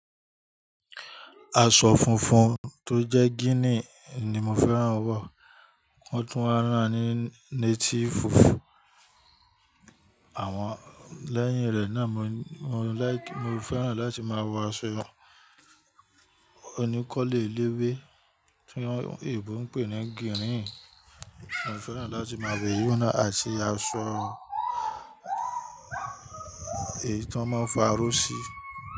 Aṣọ funfun tó jẹ́ gínì ni mo fẹ́ràn wọ̀, wọ́n tún wa rán ni natiifu, àwọn lẹ́yìn rẹ̀ náà mo laiki mo fẹ́ràn láti máa wọ aṣọ oníkọ́lo eléwé tí àwọn eebo ń pè ní gírìn, mo fẹ́ràn láti máa wò eyun naa àti aṣọ èyí tan maa ń fi aró sí.